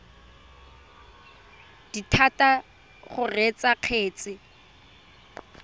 dithata tsa go reetsa kgetse